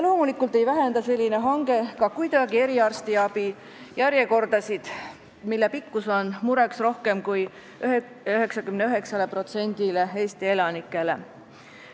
Loomulikult ei vähenda selline hange ka kuidagi eriarstiabi järjekordi, mille pikkus on mureks rohkem kui 99%-le Eesti elanikest.